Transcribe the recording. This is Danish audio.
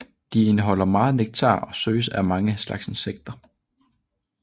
De indeholder meget nektar og søges af mange slags insekter